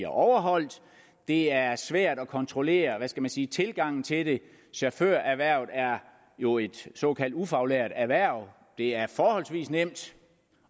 overholdt det er svært at kontrollere hvad skal man sige tilgangen til det chaufførerhvervet er jo et såkaldt ufaglært erhverv det er forholdsvis nemt